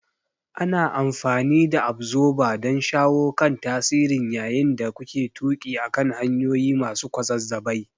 Ana amfani da Absorber don shawo kan tasirin yayin da kuke tuƙi akan hanyoyi masu kwazazzabai.